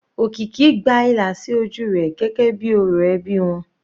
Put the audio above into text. Okiki gba ìlà sí ojú rẹ̀ gẹ́gẹ́ bíi orò ẹbí wọn.